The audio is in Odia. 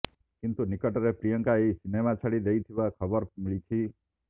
କିନ୍ତୁ ନିକଟରେ ପ୍ରିୟଙ୍କା ଏହି ସିନେମା ଛାଡ଼ି ଦେଇଥିବା ଖବର ମିଳିଛି